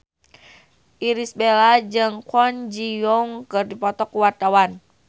Irish Bella jeung Kwon Ji Yong keur dipoto ku wartawan